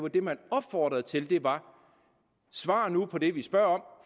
det man opfordrede til var svar nu på det vi spørger om